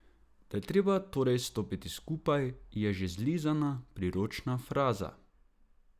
Da je treba torej stopiti skupaj, je že zlizana priročna fraza.